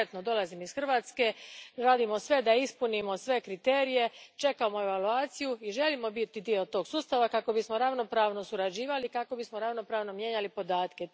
Konkretno, dolazim iz Hrvatske, radimo sve da ispunimo sve kriterije, čekamo evaluaciju i želimo biti dio tog sustava kako bismo ravnopravno surađivali i ravnopravno mijenjali podatke.